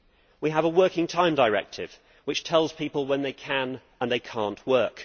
We have a Working Time Directive which tells people when they can and cannot work.